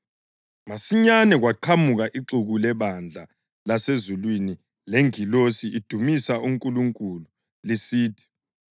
Masinyane kwaqhamuka ixuku lebandla lasezulwini lengilosi lidumisa uNkulunkulu lisithi,